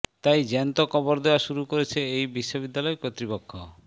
তাই জ্যান্ত কবর দেওয়া শুরু করেছে এই বিশ্ববিদ্যালয় কর্তৃপক্ষ